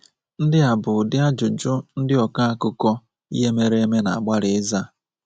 Ndị a bụ ụdị ajụjụ ndị ọkọ akụkọ ihe mere eme na-agbalị ịza.